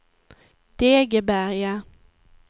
Degeberga